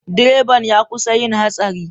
Direban ya kusa yin hatsari.